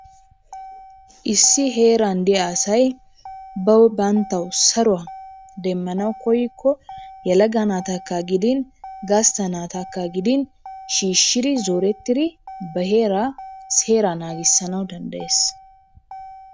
Issi heeran diya asay bawu banttawu saruwa demmanawu koyikko yelaga naatakka gidin gastta naatakka gidin shiishshidi zorettidi ba heeraa seera naagisanawu danddayes.